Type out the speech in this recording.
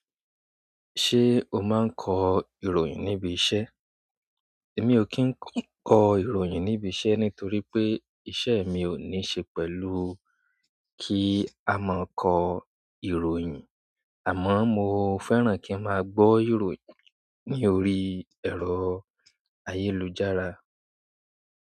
Ṣé o máa ń kọ ìròyìn níbi iṣẹ́? Mi ò kí ń kọ ìròyìn níbi iṣẹ́ nítorí pé iṣẹ́ mi ò ní ṣe pẹ̀lú kí a máa kọ ìròyìn, àmọ́ mo fẹ́ràn kí a máa gbọ́ ìròyìn ní orí ẹ̀rọ ayélujára.